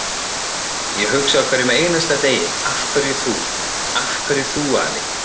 Ég hugsa á hverjum einasta degi: Af hverju þú, af hverju þú afi?